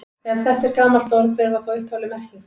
Ef þetta er gamalt orð, hver var þá upphafleg merking þess?